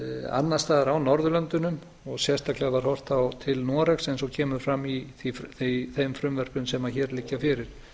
annars staðar á norðurlöndunum sérstaklega var horft til noregs eins og kemur fram í þeim frumvörpum sem hér liggja fyrir